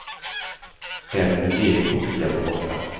Även min egen kopia var borta.